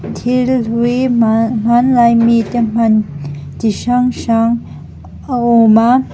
thil hlui hman hmanlai mite hman ti hrang hrang a ûm a--